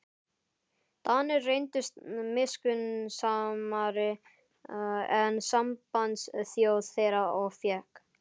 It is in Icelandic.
Danir reyndust miskunnsamari en sambandsþjóð þeirra og fékk